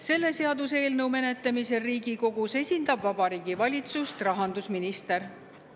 Selle seaduseelnõu menetlemisel Riigikogus esindab Vabariigi Valitsust rahandusminister.